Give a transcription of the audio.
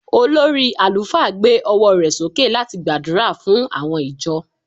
olórí alufa gbe ọwọ rẹ soke lati gbàdúrà fún àwọn ìjọ